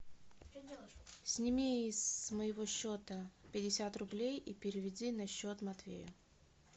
сними с моего счета пятьдесят рублей и переведи на счет матвея